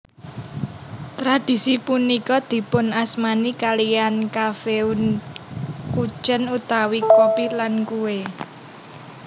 Tradisi punika dipunasmani kaliyan Kaffeeundkuchen utawi kopi lan kue